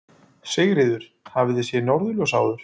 Sigríður: Hafið þið séð norðurljós áður?